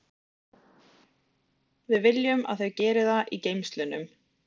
Við viljum að þau geri það í geymslunum.